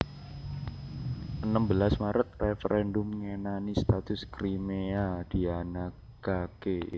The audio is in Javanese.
Enem belas Maret Réferèndum ngenani status Kriméa dianakaké